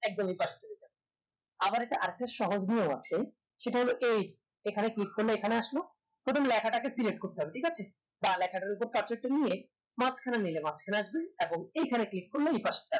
একদম এপাশ চলে যাই আবার এটার আর একটা সহজ নিয়ম ও আছে এই এখানে click করলে এখানে আসলো এবং লেখা তাকে select করতে হবে ঠিক আছে উপর পাশেরটা নিয়ে মাঝ খানে নিয়ে মাঝ খানে আসবেন এখন এইখানে click